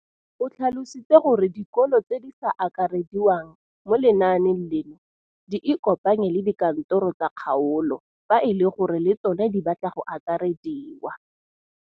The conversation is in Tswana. O tlhalositse gore dikolo tse di sa akarediwang mo lenaaneng leno di ikopanye le dikantoro tsa kgaolo fa e le gore le tsona di batla go akarediwa.